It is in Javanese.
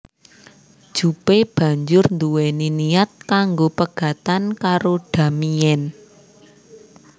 Jupe banjur nduweni niat kanggo pegatan karo Damien